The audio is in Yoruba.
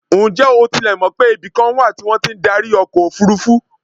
Ǹjẹ́ o tilẹ̀ mọ̀ pé ibikan wà tí wọ́n ti ń darí ọkọ̀ òfurufú?